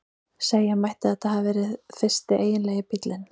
Segja mætti að þetta hafi verið fyrsti eiginlegi bíllinn.